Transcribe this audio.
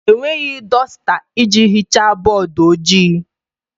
Enweghị dọsta iji hichaa bọọdụ ojii.